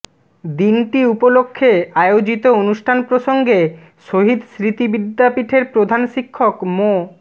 দিনটি উপলক্ষে আয়োজিত অনুষ্ঠান প্রসঙ্গে শহীদ স্মৃতি বিদ্যাপীঠের প্রধান শিক্ষক মো